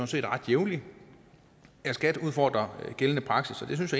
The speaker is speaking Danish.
set ret jævnligt at skat udfordrer gældende praksis det synes